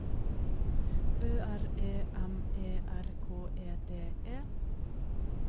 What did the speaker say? Ø R E M E R K E D E